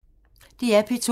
DR P2